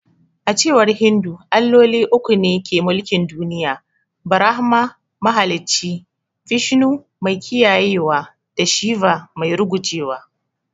A cewar Hindu, Alloli uku ne ke mulkin duniya. Brahma: mahalicci; Vishnu: mai kiyayewa da Shiva: mai rugujewa.